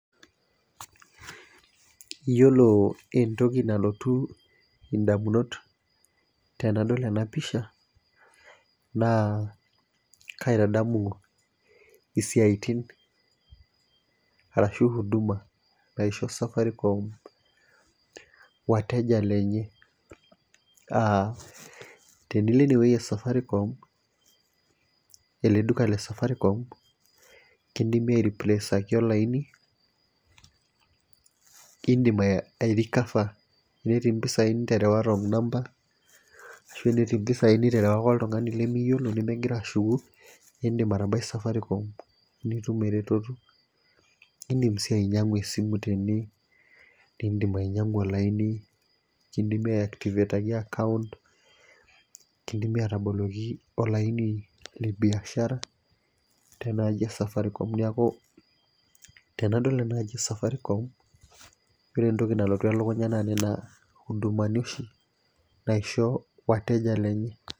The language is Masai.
Iyiolo entoki nalotu damunot tenadol ena pisha naa kaitadamu, isiatin ashu huduma naisho safaricom, wateja lenye, aa tenilo ene wueji e safaricom, ele duka le safaricom kidimie ai replace olaini idim ai recover tenetii mpisai niterewa wrong number ashu tenetii mpisai niterewaka oltungani limiyiolo nemegira ashuku, idim atabai safaricom nitum eretoto. idim sii ainyiangu esimu tene, idim ainyiangu olaini, kidimie ai activate account kidimie aataboloki olaini le biashara te naaji e safaricom. neeku tenadol ena aji e safaricom. ore entoki nalotu elukunya naa Nena hudumani oshi naisho wateja lenye.